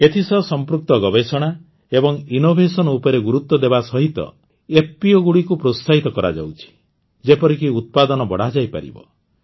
ଏଥିସହ ସମ୍ପୃକ୍ତ ଗବେଷଣା ଏବଂ ଇନ୍ନୋଭେସନ ଉପରେ ଗୁରୁତ୍ୱ ଦେବା ସହିତ ଏଫପିଓଗୁଡ଼ିକୁ ପ୍ରୋତ୍ସାହିତ କରାଯାଉଛି ଯେପରିକି ଉତ୍ପାଦନ ବଢ଼ାଯାଇପାରିବ